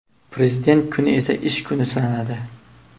Prezident kuni esa ish kuni sanaladi.